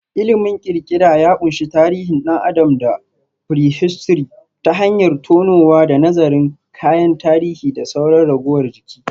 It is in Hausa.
Ilimin kirkira ya ƙunshi tarihin ɗan adam da prehistory ta hanyar tonowa da nazarin kayan tarihi da sauran ragowar jiki.